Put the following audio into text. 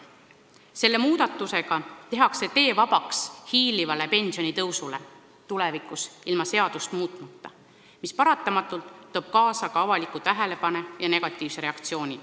Selle muudatusega tehakse tee vabaks hiilivale pensioniea tõusule ilma seadust muutmata, mis paratamatult tooks kaasa avalikkuse tähelepanu ja negatiivse reaktsiooni.